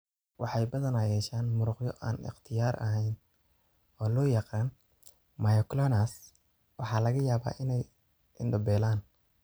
Waxay badanaa yeeshaan muruqyo aan ikhtiyaar ahayn oo loo yaqaan 'myoclonus', waxaana laga yaabaa inay indho beelaan.